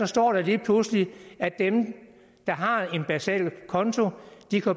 står lige pludselig at dem der har en basal konto